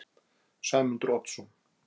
Sæmundur Oddsson